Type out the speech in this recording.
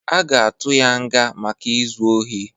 Aga atụ ya nga maka izu ọhi